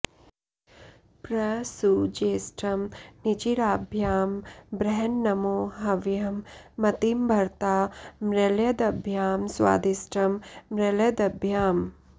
प्र सु ज्येष्ठं निचिराभ्यां बृहन्नमो हव्यं मतिं भरता मृळयद्भ्यां स्वादिष्ठं मृळयद्भ्याम्